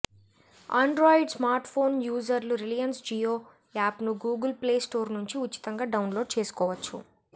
Android smartphone యూజర్లు Reliance Jio యాప్ను Google play store నుంచి ఉచితంగా డౌన్లోడ్ చేసుకోవచ్చు